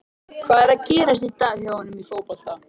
Hvað er að gerast í dag hjá honum í fótboltanum?